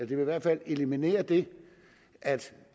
i hvert fald eliminere det at